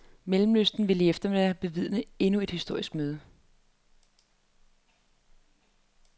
Mellemøsten vil i eftermiddag bevidne endnu et historisk møde.